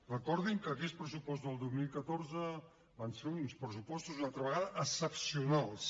recordin que aquells pressupostos del dos mil catorze van ser uns pressupostos una altra vegada excepcionals